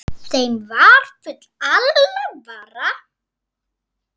Þeim var full alvara.